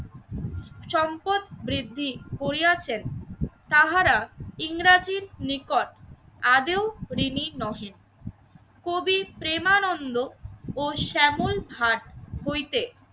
সম্পদ বৃদ্ধি করিয়াছেন তাহারা ইংরাজির নিকট আদেও ঋণী নহে। কবি প্রেমানন্দ ও শ্যামল ভাট হইতে